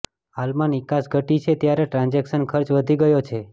હાલમાં નિકાસ ઘટી છે ત્યારે ટ્રાન્ઝેક્શન ખર્ચ વધી ગયો છે